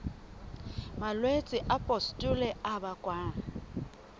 malwetse a pustule a bakwang